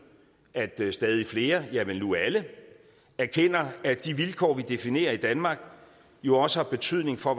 at stadig flere ja vel nu alle erkender at de vilkår vi definerer i danmark jo også har betydning for